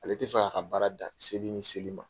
Ale tɛ fɛ k'a ka baara dan seli ni seli ma.